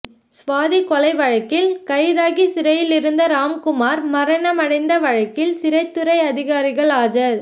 ஸ்வாதி கொலை வழக்கில் கைதாகி சிறையில் இருந்த ராம்குமார் மரணமடைந்த வழக்கில் சிறைத்துறை அதிகாரிகள் ஆஜர்